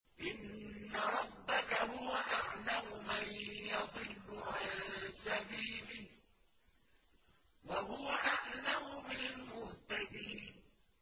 إِنَّ رَبَّكَ هُوَ أَعْلَمُ مَن يَضِلُّ عَن سَبِيلِهِ ۖ وَهُوَ أَعْلَمُ بِالْمُهْتَدِينَ